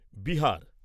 Bihar